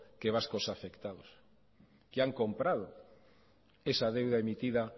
que vascos afectados que han comprado esa deuda emitida